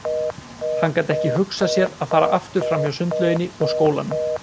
Hann gat ekki hugsað sér að fara aftur fram hjá sundlauginni og skólanum.